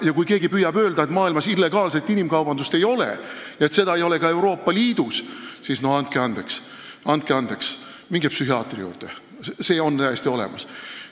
Ja kui keegi püüab öelda, et maailmas illegaalset inimkaubandust ei ole ja et seda ei ole ka Euroopa Liidus, siis andke andeks, minge psühhiaatri juurde – see on täiesti olemas.